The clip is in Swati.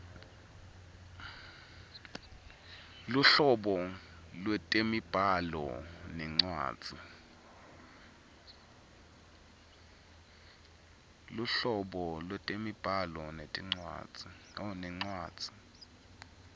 luhlobo lwetemibhalo nencwadzi